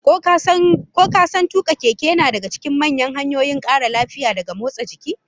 Ko ka san tuka keke yana daga cikin manyan hanyoyin kara lafiya daga motsa jiki?